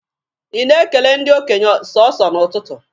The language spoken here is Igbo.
Ị na-ekele ndị okenye sọsọ n'ụtụtụ?